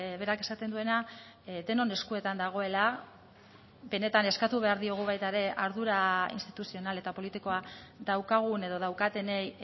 berak esaten duena denon eskuetan dagoela benetan eskatu behar diogu baita ere ardura instituzional eta politikoa daukagun edo daukatenei